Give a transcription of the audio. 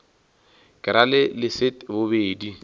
ke ra le leset bobedi